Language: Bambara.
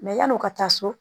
yan'o ka taa so